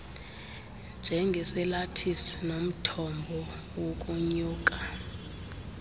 njengesalathisi nomthombo wokonyula